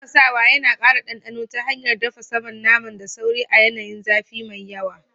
Tafasawa yana kara dandano ta hanyar dafa saman naman da sauri a yanayin zafi mai yawa.